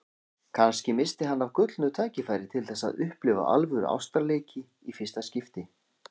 Kannski missti hann af gullnu tækifæri til þess að upplifa alvöru ástarleiki í fyrsta skipti.